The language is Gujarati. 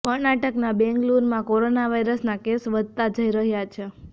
કર્ણાટકના બેંગ્લુરૂમાં કોરોના વાયસના કેસ વધતા જઈ રહ્યા છે